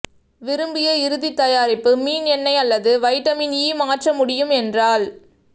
விரும்பிய இறுதி தயாரிப்பு மீன் எண்ணெய் அல்லது வைட்டமின் ஈ மாற்ற முடியும் என்றால்